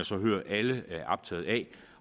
så hører at alle er optaget af